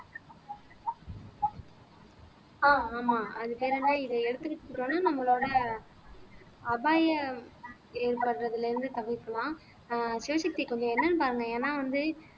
ஆஹ் ஆமா அது பேர் என்ன இத எடுத்துக்கிட்டீங்கன்னா நம்மளோட அபாயம் ஏற்படுறதிலே இருந்து தவிர்க்கலாம் ஆஹ் சிவசக்தி கொஞ்சம் என்னன்னு பாருங்க ஏன்னா வந்து